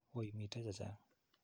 Woi mitei che chang'.